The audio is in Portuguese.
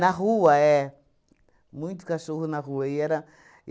Na rua, é. Muito cachorro na rua. E era